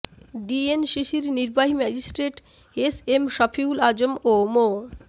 ডিএনসিসির নির্বাহী magistrate S M Shafiul Azam ও মো